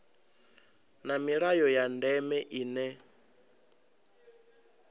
na milayo ya ndeme ine